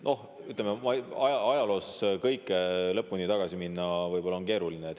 Noh, ütleme, ajaloos lõpuni tagasi minna on võib-olla keeruline.